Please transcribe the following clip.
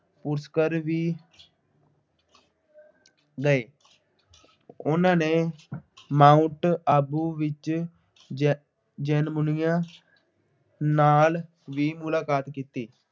ਉਸਕਰ ਵੀ ਗਏ। ਉਹਨਾ ਨੇ ਮਾਊਂਟ ਆਬੂ ਵਿੱਚ ਜੈਨ ਜੈਨ ਮੁਨੀਆਂ ਨਾਂਲ ਵੀ ਮੁਲਾਕਾਤ ਕੀਤੀ।